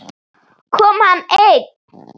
Kom hann einn?